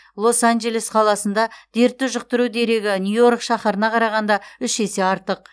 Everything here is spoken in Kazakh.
лос анджелес қаласында дертті жұқтыру дерегі нью йорк шаһарына қарағанда үш есе артық